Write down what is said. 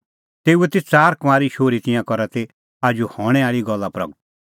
तेऊए ती च़ार कुंआरी शोहरी तिंयां करा ती आजू हणैं आल़ी गल्ला प्रगट